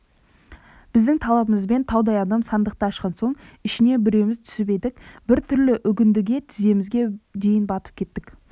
біздің талабымызбен таудай адам сандықты ашқан соң ішіне біреуіміз түсіп едік біртүрлі үгіндіге тіземізге дейін батып кеттік